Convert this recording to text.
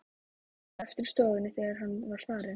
Ég varð eftir í stofunni, þegar hann var farinn.